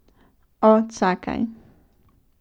O, čakaj.